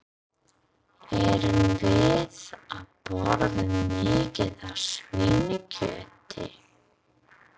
Erum við að borða mikið af svínakjöti?